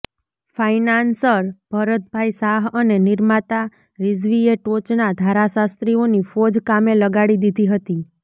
financier Bharatbhai Shah અને નિર્માતા રિઝવીએ ટોચના ધારાશાસ્ત્રીઓની ફોજ કામે લગાડી દીધી હતી